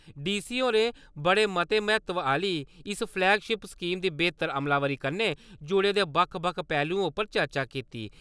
DC. होरें बड़े मते म्हत्तवआह्‌ली इस फलैगशिप स्कीम दी बेह्‌तर अमलावरी कन्नै जुड़े दे बक्ख-बक्ख पैह्लुएं उप्पर चर्चा कीती।